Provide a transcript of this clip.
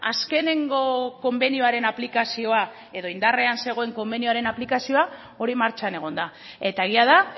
azkenengo konbenioaren aplikazioa edo indarrean zegoen konbenioaren aplikazioa hori martxan egon da eta egia da